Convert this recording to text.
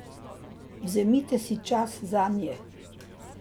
Vzemite si čas zanje.